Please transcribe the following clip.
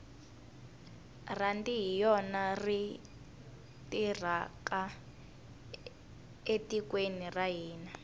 rhandi hi yona yi tirhaka etikweni ra hina